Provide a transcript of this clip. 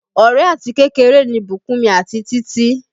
Ọ̀rẹ́ àti kékeré ni Bukunmi àti Títí